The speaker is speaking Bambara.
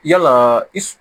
Yala i